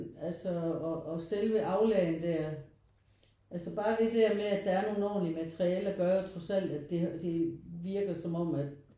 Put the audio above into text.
Den altså og selve aulaen der altså bare det der med at der er nogen ordentlige materiale gør jo trods alt at det virker som om at